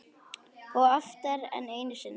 Og oftar en einu sinni.